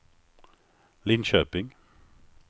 Linköping